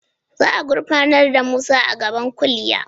Za a gurfanar da Musa a gaban kuliya?